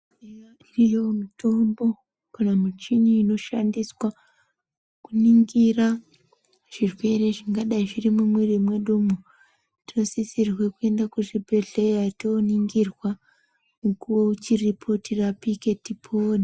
Iriyo mitombo kana michini inoshandiswa kuningira zvirwere zvingadai zvirimwo mumwiri mwedumwo tosisirwe kuenda kuzvibhedhleya tooningirwa mukuwo uchipo tirapike tipone.